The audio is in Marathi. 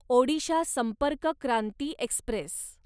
ओडिशा संपर्क क्रांती एक्स्प्रेस